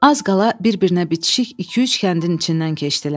Az qala bir-birinə bitişik iki-üç kəndin içindən keçdilər.